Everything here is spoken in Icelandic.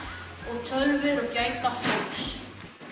og tölvur og gæta hófs